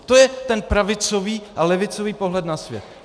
To je ten pravicový a levicový pohled na svět.